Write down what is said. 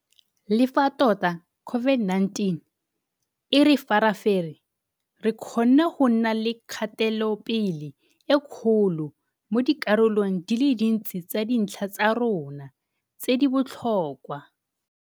Le fa tota COVID-19 e re farafere, re kgonne go nna le kgatelopele e kgolo mo dikarolong di le dintsi tsa dintlha tsa rona tse di botlhokwa.